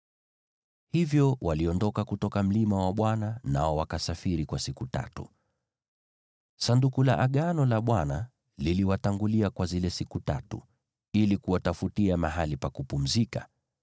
Hivyo waliondoka kutoka mlima wa Bwana , nao wakasafiri kwa siku tatu. Sanduku la Agano la Bwana liliwatangulia kwa zile siku tatu ili kuwatafutia mahali pa kupumzika.